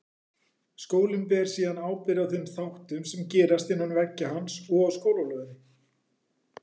Skólinn ber síðan ábyrgð á þeim þáttum sem gerast innan veggja hans og á skólalóðinni.